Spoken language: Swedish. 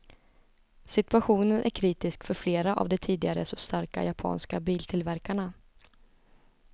Situationen är kritisk för flera av de tidigare så starka japanska biltillverkarna.